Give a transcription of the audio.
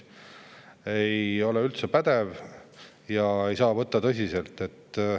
See ei ole üldse pädev ja seda ei saa võtta tõsiselt.